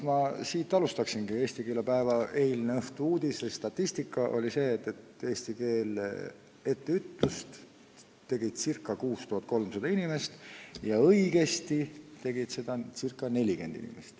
Ja sellest ma alustaksingi: eilne õhtu-uudis oli see, et eesti keele etteütlust tegi ca 6300 inimest ja õigesti kirjutas teksti ca 40 inimest.